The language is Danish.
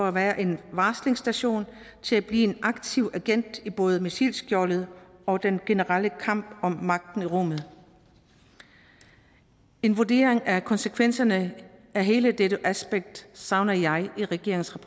at være en varslingsstation til at blive en aktiv agent i både missilskjoldet og den generelle kamp om magten i rummet en vurdering af konsekvenserne af hele det aspekt savner jeg i regeringens